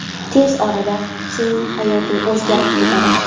Tez orada sening hayoting o‘zgarib ketadi.